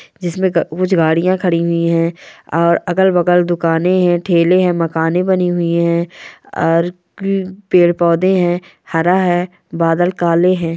जिसमें कुछ गाड़ियां खड़ी हुई हैं और अगल-बगल दुकाने हैं ठेले हैं मकाने बनी हुई हैं और पेड़-पौधे है हरा है बादल काले हैं।